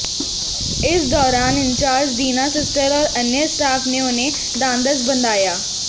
इस दौरान incharge Deena sister और अन्य स्टाफ ने उन्हें ढांढस बंधाया